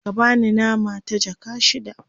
ka bani nama ta jaka shida